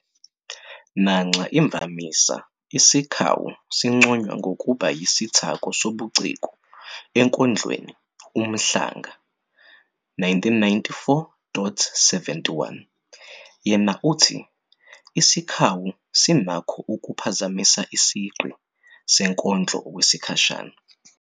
Nanxa imvamisa isikhawu sinconywa ngokuba yisithako sobuciko enkondlweni, uMhlanga, 1994-71, yena uthi- "Isikhawu sinakho ukuphazamisa isigqi senkondlo okwesikhashana."